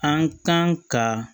An kan ka